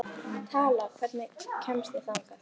Tala, hvernig kemst ég þangað?